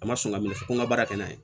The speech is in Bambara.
A ma sɔn ka minɛ ko n ka baara kɛ n'a ye